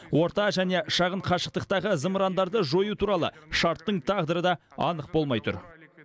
орта және шағын қашықтықтағы зымырандарды жою туралы шарттың тағдыры да анық болмай тұр